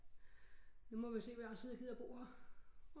Nu må vi se hvor lang tid jeg gider bo her